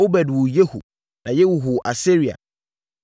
Obed woo Yehu na Yehu woo Asaria.